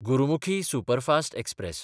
Gurmukhi superfast express